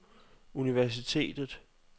universitetet